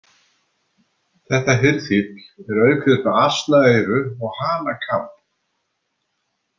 Þetta hirðfífl er auk þess með asnaeyru og hanakamb.